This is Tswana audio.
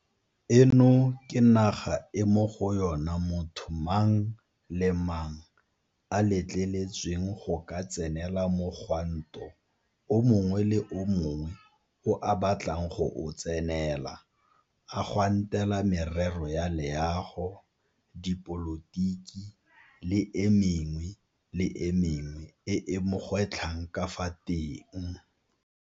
Eno ke naga e mo go yona motho mang le mang a letleletsweng go ka tsenela mogwanto o mongwe le o mongwe o a batlang go o tsenela a gwantela merero ya leago, dipolotiki le e mengwe le e mengwe e e mo gwetlhang ka fa teng.